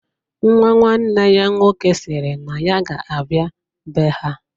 Nwa nwanne ya nwoke sịrị na ya ga-abịa be ha.